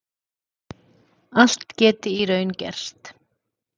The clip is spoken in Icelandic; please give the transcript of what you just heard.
Allt geti í raun gerst